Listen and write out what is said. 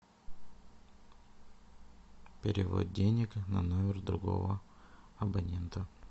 перевод денег на номер другого абонента